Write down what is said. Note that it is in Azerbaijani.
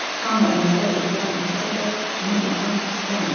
Hamı onlara ehtiram etsə də, bunu etmək istəmir.